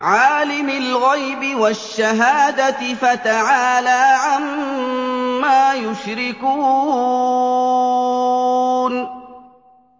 عَالِمِ الْغَيْبِ وَالشَّهَادَةِ فَتَعَالَىٰ عَمَّا يُشْرِكُونَ